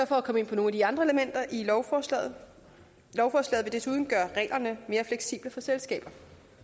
for at komme ind på nogle af de andre elementer i lovforslaget lovforslaget vil desuden gøre reglerne mere fleksible for selskaber